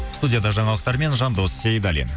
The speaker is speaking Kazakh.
студияда жаңалықтармен жандос сейдаллин